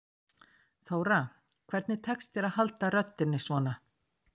Þóra: Hvernig tekst þér að halda röddinni svona?